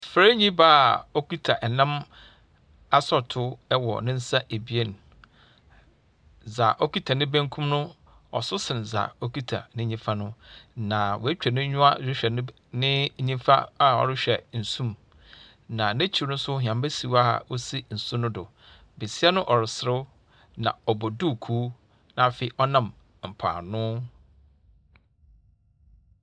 Farnyi baa okitsa nam sorɔtow wɔ ne nsa ebien, dza okitsa ne bankum no so sen dza okitsa ne nyimfa no. Na oetwa n’enyiwa rohwɛ ne ne nyimfa a ɔrohwɛ nsu mu, na n’ekyir so hɛmba si hɔ a osi nsu no do. Basia no ɔreserew, ɔbɔ duukuu na afei, ɔnam mpoano.